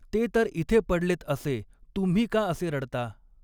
ते तर इथे पडलेत असे तुम्ही का असे ऱडता?